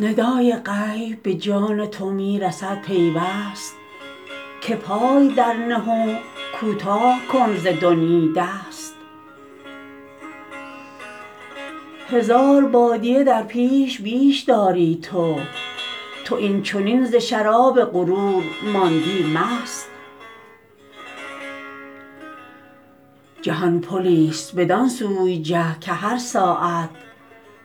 ندای غیب به جان تو می رسد پیوست که پای در نه و کوتاه کن ز دنیی دست هزار بادیه در پیش بیش داری تو تو این چنین ز شراب غرور ماندی مست جهان پلی است بدان سوی جه که هر ساعت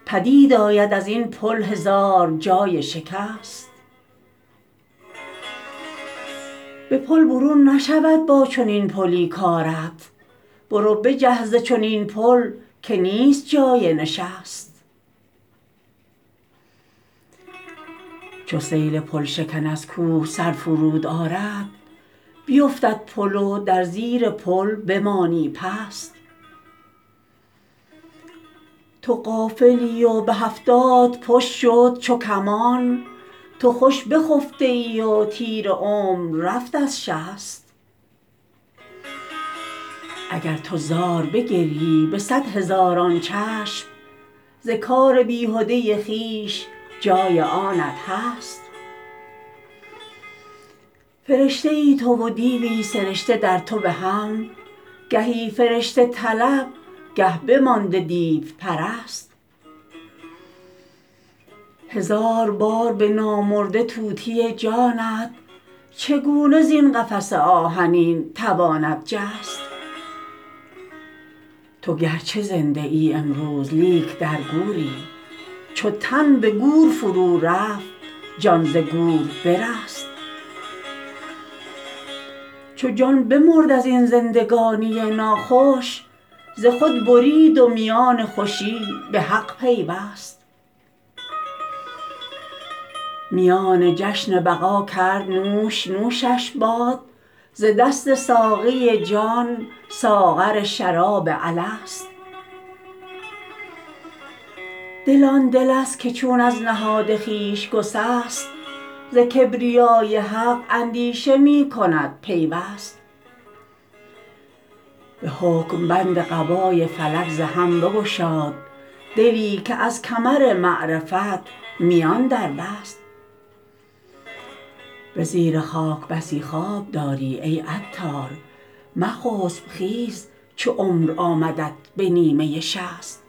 پدید آید ازین پل هزار جای شکست به پل برون نشود با چنین پلی کارت برو بجه ز چنین پل که نیست جای نشست چو سیل پل شکن از کوه سر فرود آرد بیوفتد پل و در زیر پل بمانی پست تو غافلی و به هفتاد پشت شد چو کمان تو خوش بخفته ای و تیر عمر رفت از شست اگر تو زار بگریی به صد هزاران چشم ز کار بیهده خویش جای آنت هست فرشته ای تو و دیوی سرشته در تو به هم گهی فرشته طلب گه بمانده دیو پرست هزار بار به نامرده طوطی جانت چگونه زین قفس آهنین تواند جست تو گرچه زنده ای امروز لیک در گوری چو تن به گور فرو رفت جان ز گور برست چو جان بمرد از این زندگانی ناخوش ز خود برید و میان خوشی به حق پیوست میان جشن بقا کرد نوش نوشش باد ز دست ساقی جان ساغر شراب الست دل آن دل است که چون از نهاد خویش گسست ز کبریای حق اندیشه می کند پیوست به حکم بند قبای فلک ز هم بگشاد دلی که از کمر معرفت میان در بست به زیر خاک بسی خواب داری ای عطار مخسب خیز چو عمر آمدت به نیمه شصت